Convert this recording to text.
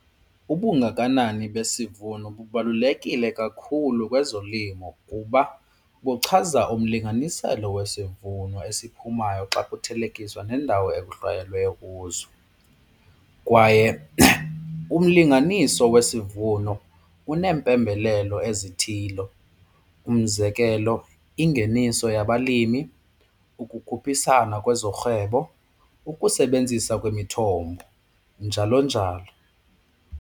Ubungakanani besivuno bubalulekile kakhulu kwezolimo kuba buchaza umlinganiselo wesivuno esiphumayo xa kuthelekiswa nendawo ekuhlwayeleyo kuzo. Kwaye umlinganiso wesivuno uneempembelelo ezithile umzekelo ingeniso yabalimi, ukukhuphisana kwezorhwebo, ukusebenzisa kwemithombo njalo njalo.